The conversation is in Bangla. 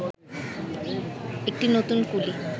একটি নতুন কুলি